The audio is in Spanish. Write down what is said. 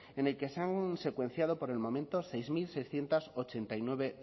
en el que se han secuenciado por el momento seis mil seiscientos ochenta y nueve